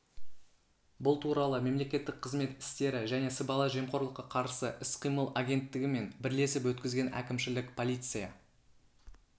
бұл туралы мемлекеттік қызмет істері және сыбайлас жемқорлыққа қарсы іс-қимыл агенттігі мен бірлесіп өткізген әкімшілік полиция